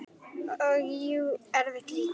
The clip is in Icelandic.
Og jú, erfitt líka.